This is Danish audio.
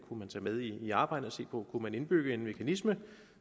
med i arbejdet og se på om man kunne indbygge en mekanisme